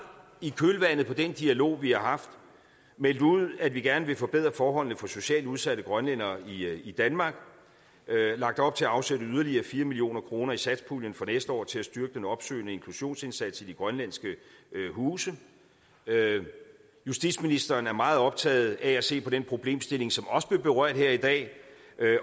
i kølvandet på den dialog vi har haft meldt ud at vi gerne vil forbedre forholdene for socialt udsatte grønlændere i danmark og lagt op til at afsætte yderligere fire million kroner i satspuljen for næste år til at styrke den opsøgende inklusionsindsats i de grønlandske huse justitsministeren er meget optaget af at se på den problemstilling som også blev berørt her i dag